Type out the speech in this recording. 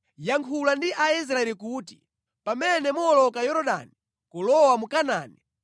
“Yankhula ndi Aisraeli kuti, ‘Pamene muwoloka Yorodani kulowa mu Kanaani,